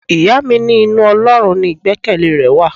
Ìyá mi ní inú Ọlọ́run ni igbekele rẹ wà.